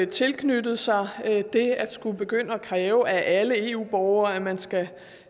tilknyttet sig det at skulle begynde at kræve af alle eu borgere at man skal